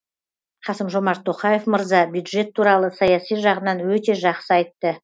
қасым жомарт тоқаев мырза бюджет туралы саяси жағынан өте жақсы айтты